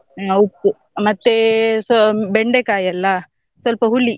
ಹಾ ಉಪ್ಪು ಮತ್ತೇ ಸ್ವ~ ಬೆಂಡೆಕಾಯಿ ಅಲ್ಲಾ ಸ್ವಲ್ಪ ಹುಳಿ.